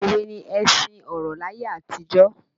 Òwe ni ẹṣin ọ̀rọ̀ laye àtijọ́